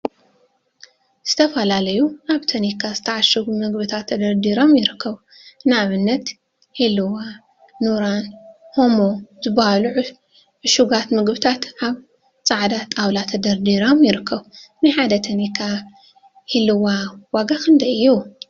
ዝተፈላለዩ አብ ታኒካ ዝተዓሸጉ ምግቢታት ተደርዲሮም ይርከቡ፡፡ ንአብነት ሂልዋ፣ ኑራን ሃሞ ዝበሃሉ ዕሹጋት ምግቢታት አብ ፃዕዳ ጣውላ ተደርዲሮም ይርከቡ፡፡ ናይ ሓደ ታኒካ ሂልዋ ዋጋ ክንደይ እዩ?